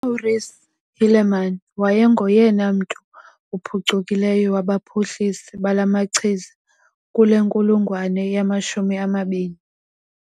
UMaurice Hilleman wayengoyena mntu uphucukileyo wabaphuhlisi balamachiza kule nkulungwane yamashumi amabini.